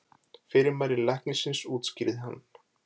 Fyrirmæli læknisins útskýrði hún.